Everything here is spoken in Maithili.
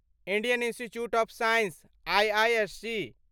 Indian institute of science IISc